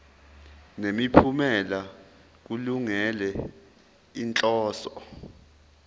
nemiphumela kulungele inhloso